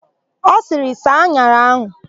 Ọ sịrị, "saa an̄ara áhụ̀"!